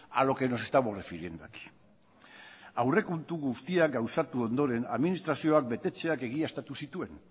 a lo que nos estamos refiriendo aquí aurrekontu guztiak gauzatu ondoren administrazioak betetzeak egiaztatu zituen